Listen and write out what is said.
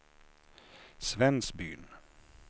Svensbyn